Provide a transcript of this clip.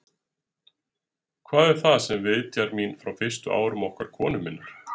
Hvað er það, sem vitjar mín frá fyrstu árum okkar konu minnar?